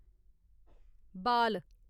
बाल